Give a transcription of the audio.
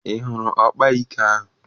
Ị hụrụ ọkaikpe ahụ?